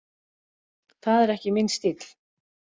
Það er ekki minn stíll.